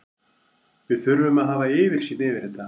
Við þurfum að hafa yfirsýn yfir þetta.